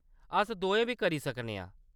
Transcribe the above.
अस दोऐ बी करी सकने आं।